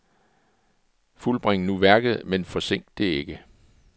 Fuldbring nu værket, men forsink det ikke.